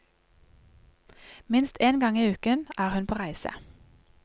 Minst én gang i uken er hun på reise.